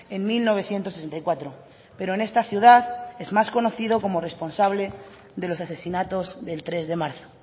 en mil novecientos sesenta y cuatro pero en esta ciudad es más conocido como responsable de los asesinatos del tres de marzo